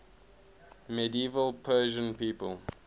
medieval persian people